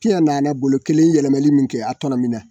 Kiya nana bolo kelen yɛlɛmɛli min kɛ, a tɔnɔmin na.